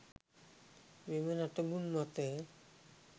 මෙම නටබුන් මත